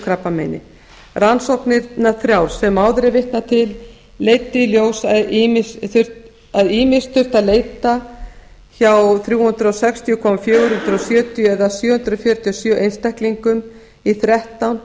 krabbameini rannsóknirnar þrjár sem áður er vitnað til leiddu í ljós að ýmist þurfti að leita hjá þrjú hundruð sextíu fjögur hundruð sjötíu eða sjö hundruð fjörutíu og sjö einstaklingum í þrettán